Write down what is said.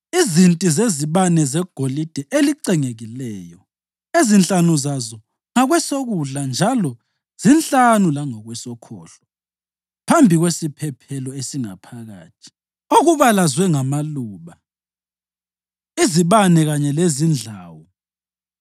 izinti zezibane zegolide elicengekileyo (ezinhlanu zazo ngakwesokudla njalo zinhlanu langakwesokhohlo, phambi kwesiphephelo esingaphakathi); okubalazwe ngamaluba, izibane kanye lezindlawu;